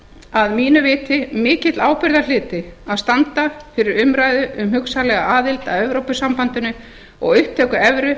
að mínu viti mikill ábyrgðarhluti að standa fyrir umræðu um hugsanlega aðild að evrópusambandinu og upptöku evru